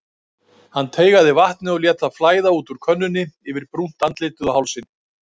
Hann teygaði vatnið og lét það flæða út úr könnunni yfir brúnt andlitið og hálsinn.